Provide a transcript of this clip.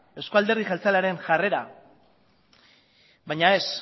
eusko alderdi jeltzalearen jarrera baina ez